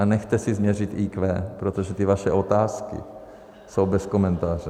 A nechte si změřit IQ, protože ty vaše otázky jsou bez komentáře.